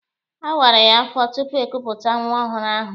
A wara ya afọ tupu ekupụta nwa ọhụrụ ahụ.